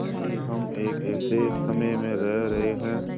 कि हम एक ऐसे समय में रह रहे हैं